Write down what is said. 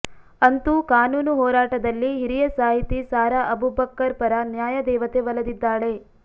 ಅಂತೂ ಕಾನೂನು ಹೋರಾಟದಲ್ಲಿ ಹಿರಿಯ ಸಾಹಿತಿ ಸಾರಾ ಅಬುಬಕ್ಕರ್ ಪರ ನ್ಯಾಯ ದೇವತೆ ಒಲಿದಿದ್ದಾಳೆ